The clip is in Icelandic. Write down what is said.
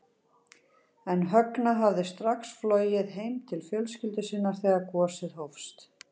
En Högna hafði strax flogið heim til fjölskyldu sinnar þegar gosið hófst.